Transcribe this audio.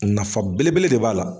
Nafa belebele de b'a la.